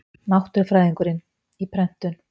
Náttúrufræðingurinn, í prentun.